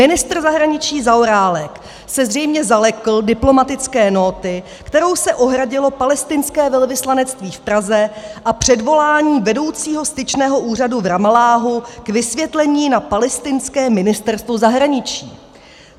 Ministr zahraničí Zaorálek se zřejmě zalekl diplomatické nóty, kterou se ohradilo palestinské velvyslanectví v Praze, a předvolání vedoucího styčného úřadu v Ramalláhu k vysvětlení na palestinské ministerstvo zahraničí.